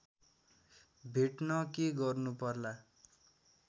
भेट्न के गर्नुपर्ला